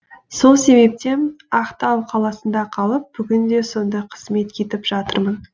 сол себептен ақтау қаласында қалып бүгінде сонда қызмет етіп жатырмын